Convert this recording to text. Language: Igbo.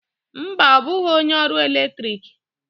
Mba, ọ bụghị onye ọru eletrik